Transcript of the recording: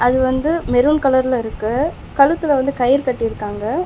அது வந்து மெரூன் கலர்ல இருக்கு கழுத்துல வந்து கயறு கட்டிருக்காங்க.